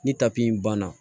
Ni tapi in banna